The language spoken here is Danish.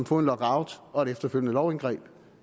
få en lockout og et efterfølgende lovindgreb